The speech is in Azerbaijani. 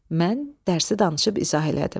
Mən dərsi danışıb izah elədim.